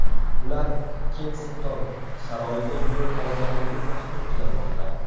Ular Kensington saroyiga yo‘l olganligi taxmin qilinmoqda.